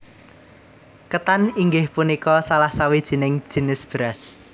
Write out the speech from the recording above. Ketan inggih punika salah sawijining jinis beras